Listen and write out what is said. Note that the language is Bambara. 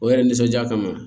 O yɛrɛ nisɔndiya kama